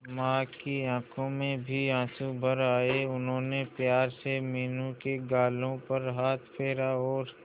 मां की आंखों में भी आंसू भर आए उन्होंने प्यार से मीनू के गालों पर हाथ फेरा और